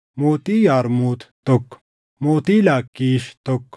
mootii Yarmuut, tokko mootii Laakkiish, tokko